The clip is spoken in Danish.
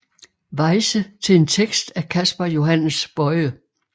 Weyse til en tekst af Casper Johannes Boye